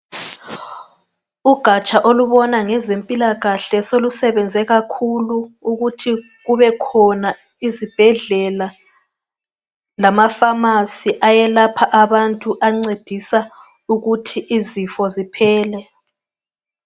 Ugatsha olubona ngezempilakahle solubenze kakhulu ukuthi kubekhona izibhedlela lamafamasi ayelapha abantu .Ancedisa ukuthi izifo ziphele.